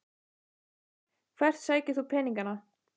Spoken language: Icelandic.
Hvert sækir þú peningana?